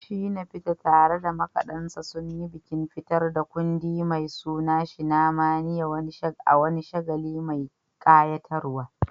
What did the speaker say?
Shina Peters, tare da makadansa, sun yi bikin fitar da kundi mai suna "Shinamania" a wani shagali mai kayatarwa.